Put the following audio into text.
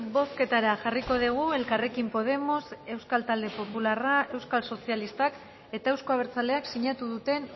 bozketara jarriko dugu elkarrekin podemos euskal talde popularrak euskal sozialistak eta euzko abertzaleak sinatu duten